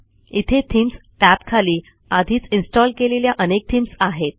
इथे थीम्स टॅबखाली आधीच इन्स्टॉल केलेल्या अनेक थीम्स आहेत